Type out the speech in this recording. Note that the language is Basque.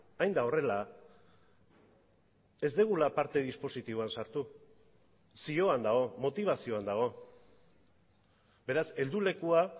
hain da horrela ez dugula parte dispositiboan sartu zioan dago motibazioan dago beraz heldulekua